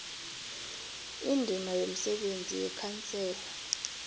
indima yomsebenzi yekhansela